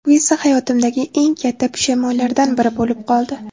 Bu esa hayotimdagi eng katta pushaymonlardan biri bo‘lib qoldi.